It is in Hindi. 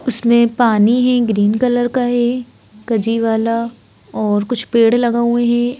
उसमें पानी है ग्रीन कलर का है गजी वाला और कुछ पेड़ लगा हुए हैं।